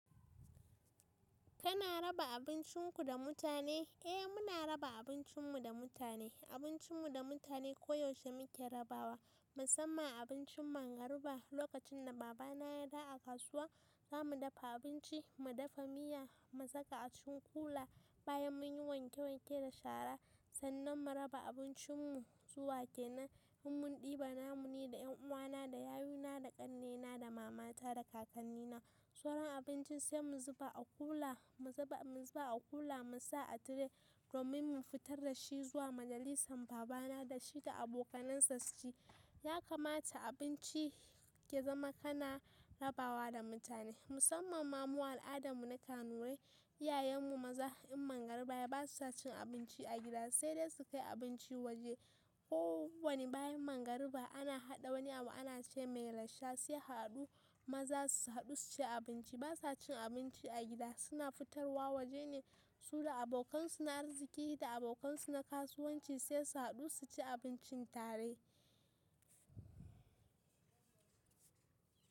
Kana raba abincinku da mutane? Eh muna raba abincinmu da mutane, abincinmu da mutane koyaushe muke rabawa musamman abincin mangariba. Lokacin da baba na ya dawo a kasuwa, zamu dafa abinci, mu dafa miya, mu saka a cikin kula bayan mun yi wanke wanke da shara sannan mu raba abincinmu zuwa ke nan. In mun ɗiba namu ni da 'yan uwana da yayuna da ƙannena da mamata da kakannina, sauran abincin sai mu zuba a kula, mu zuba a kula mu sa a tire domin mu fitar da shi zuwa majalisan baba na da shi da abokanansa su ci. Ya kamata abinci ya zama kana rabawa da mutane musamman ma mu al'adarmu na Kanuri, iyayenmu maza in mangariba yayi basu cin abinci a gida sai dai su kai abinci waje. Ko wani bayan mangariba ana haɗa wani abu ana ce mai "rasha" sai haɗu maza su haɗu su ci abinci. Ba sa cin abinci a gida, suna fitarwa waje ne su da abokansu na arziki da abokansu na kasuwanci sai su haɗu su ci abincin tare.